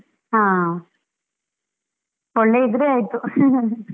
ಹಾ, ಒಳ್ಳೆ ಇದ್ರೆ ಆಯ್ತು .